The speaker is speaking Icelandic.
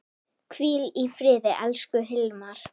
Hvíl í friði, elsku Hilmar.